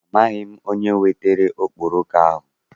Amaghị m onye wetara okporoko ahụ.